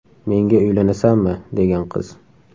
Menga uylanasanmi?”, degan qiz.